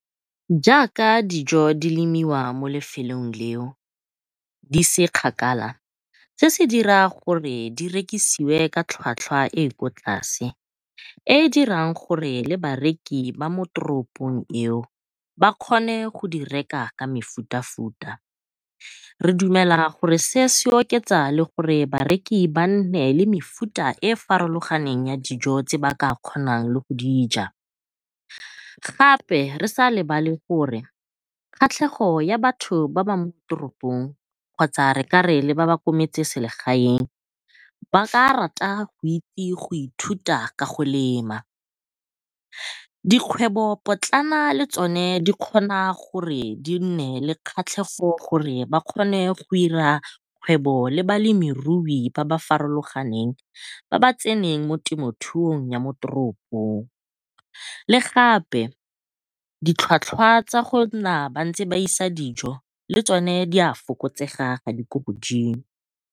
Jaaka dijo di lemiwa mo lefelong leo di se kgakala, se se dira gore di rekisiwe ka tlhwatlhwa e e kwa tlase e e dirang gore le bareki ba mo teropong eo ba kgone go di reka ka mefutafuta. Re dumela gore se se oketsa le gore bareki ba nne le mefuta e farologaneng ya dijo tse ba ka kgonang le go di ja gape re sa lebale gore kgatlhego ya batho ba mo teropong kgotsa re kare le ba ba kwa motseselegaeng ba ka rata go itse go ithuta go ka lema. Dikgwebo potlana le tsone di kgona gore di nne le kgatlhego gore ba kgone go ira kgwebo le balemirui ba ba farologaneng ba ba tseneng mo temothung ya mo teropong le gape ditlhwatlhwa tsa gore ba nna ba isa dijo le tsone di a fokotsega ga di ko godimo.